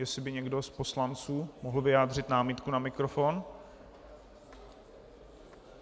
Jestli by někdo z poslanců mohl vyjádřit námitku na mikrofon.